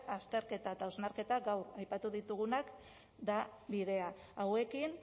azterketa eta hausnarketa gaur aipatu ditugunak da bidea hauekin